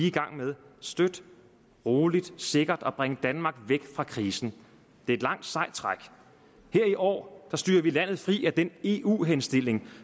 i gang med støt roligt og sikkert at bringe danmark væk fra krisen det er et langt sejt træk her i år styrer vi landet fri af den eu henstilling